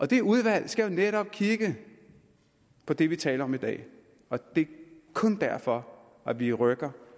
det udvalg skal netop kigge på det vi taler om i dag og det er kun derfor vi rykker